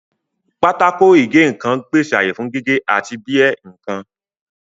Pákó ìgé nǹkan ń pèsè ààyè fún gígé àti bí ẹ́ nǹkan